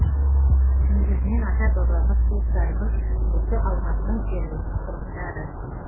негізінен ата бабамыз туыстарымыз осы алматының жергілікті тұрғындары